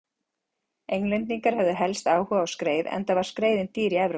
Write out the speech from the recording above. Englendingar höfðu helst áhuga á skreið enda var skreiðin dýr í Evrópu.